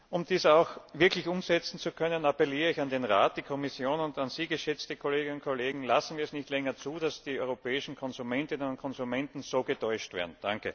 Um dies auch wirklich umsetzen zu können, appelliere ich an den Rat, die Kommission und an Sie, geschätzte Kolleginnen und Kollegen Lassen wir es nicht länger zu, dass die europäischen Konsumentinnen und Konsumenten so getäuscht werden!